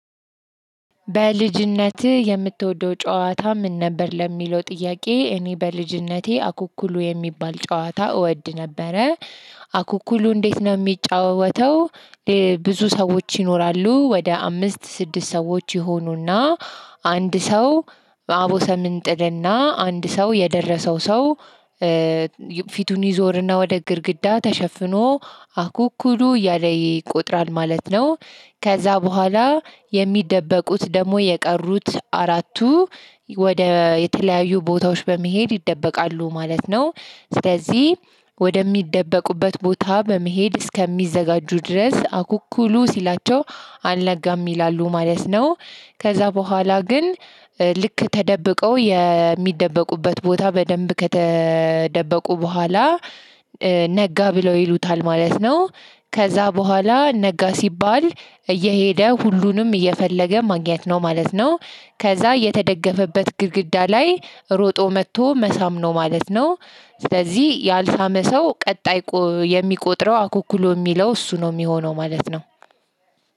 በልጅነትህ? የምትወደው ጨዋታ ምን ነበር ለሚለው ጥያቄ እኔ በልጅነቴ አኩኩሉ የሚባል ጨዋታ እወድ ነበረ። አኩኩሉ እንዴት ነው እሚጫወተው? ብዙ ሰዎች ይኖራሉ ወደ አምስት ስድስት ሰዎች ይሆኑና አንድ ሰው አቦሰም እንጥል እና አንድ ሰው የደረሰው ሰው ፊቱን ይዞርና ወደ ግርግዳ ተሸፍኖ አኩኩሉ እያለ ይቆጥራል ማለት ነው። ከዛ በኋላ የሚደበቁት ደግሞ የቀሩት አራቱ ወደ የተለያዩ ቦታዎች በመሄድ ይደበቃሉ ማለት ነው። ስለዚህ ወደ ሚደበቁበት ቦታ በመሄድ እስከሚዘጋጁ ድረስ አኩኩሉ ሲላቸው አልነጋም ይላሉ ማለት ነው። ከዛ በኋላ ግን ልክ ተደብቀው የሚደበቁበት ቦታ በደንብ ከተደበቁ በኋላ ነጋ ብለው ይሉታል ማለት ነው። ከዛ በኋላ ነጋ ሲባል እየሄደ ሁሉንም እየፈለገ ማግኘት ነው ማለት ነው። ከዛ የተደገፈበት ግድግዳ ላይ ሮጦ መጥቶ መሳም ነው ማለት ነው። ስለዚህ ያልሳመ ሰው ቀጣይ የሚቆጥረው አኩኩሉ ሚለው እሱ ነው የሚሆነው ማለት ነው።